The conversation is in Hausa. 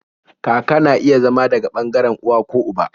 Kaka na iya zama daga ɓangaren uwa ko uba